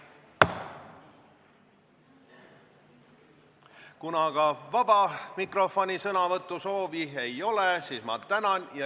Kuna aga vaba mikrofoni sõnavõtusoovi ei ole, siis ma tänan.